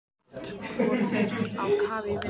Brátt voru þeir á kafi í vinnunni.